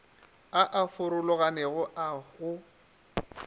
a a farologanego a go